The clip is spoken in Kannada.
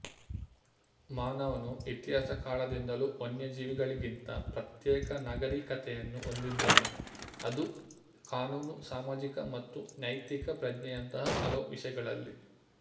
ಮಾನವನು ಇತಿಹಾಸ ಕಾಲದಿಂದಲೂ ವನ್ಯಜೀವಿಗಳಿಗಿಂತ ಪ್ರತ್ಯೇಕ ನಾಗರೀಕತೆಯನ್ನು ಹೊಂದಿದ್ದಾನೆ ಅದು ಕಾನೂನು ಸಾಮಾಜಿಕ ಮತ್ತು ನೈತಿಕ ಪ್ರಜ್ಞೆಯಂತಹ ಹಲವು ವಿಷಯಗಳಲ್ಲಿ